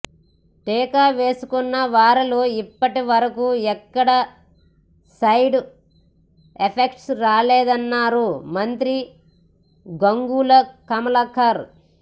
టీకా వేసుకున్న వారిలో ఇప్పటి వరకు ఎక్కడా సైడ్ ఎఫెక్ట్ రాలేదన్నారు మంత్రి గంగుల కమలాకర్